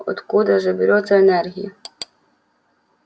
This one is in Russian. откуда же берётся энергия